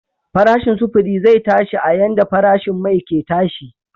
Farashin sufuri zai tashi a yanda farashin mai ke tashi.